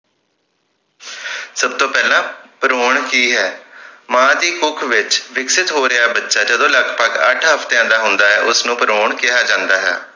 ਸਬ ਤੋਂ ਪਹਿਲਾਂ ਭਰੂਣ ਕਿ ਹੈ ਮਾਂ ਦੀ ਕੁੱਖ ਵਿਚ ਵਿਕਸਿਤ ਹੋ ਰਿਹਾ ਬੱਚਾ ਜਦੋਂ ਲਗਭਗ ਅੱਠ ਹਫਤਿਆਂ ਦਾ ਹੁੰਦਾ ਹੈ ਉਸਨੂੰ ਭਰੂਣ ਕਿਹਾ ਜਾਂਦਾ ਹੈ